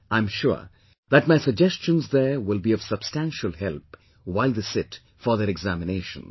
I am sure that my suggestions there will be of substantial help while they sit for their examinations